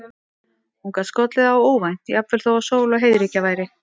Hún gat skollið á óvænt, jafnvel þó að sól og heiðríkja væri.